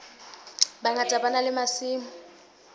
bangata ba na le masimo